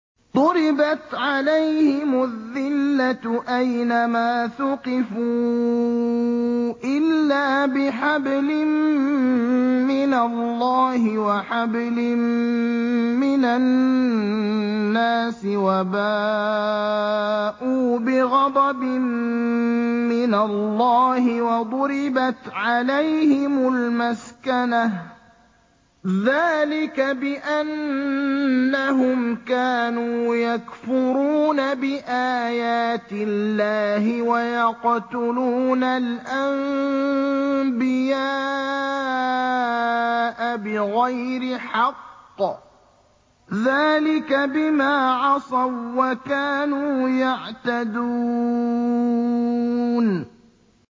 ضُرِبَتْ عَلَيْهِمُ الذِّلَّةُ أَيْنَ مَا ثُقِفُوا إِلَّا بِحَبْلٍ مِّنَ اللَّهِ وَحَبْلٍ مِّنَ النَّاسِ وَبَاءُوا بِغَضَبٍ مِّنَ اللَّهِ وَضُرِبَتْ عَلَيْهِمُ الْمَسْكَنَةُ ۚ ذَٰلِكَ بِأَنَّهُمْ كَانُوا يَكْفُرُونَ بِآيَاتِ اللَّهِ وَيَقْتُلُونَ الْأَنبِيَاءَ بِغَيْرِ حَقٍّ ۚ ذَٰلِكَ بِمَا عَصَوا وَّكَانُوا يَعْتَدُونَ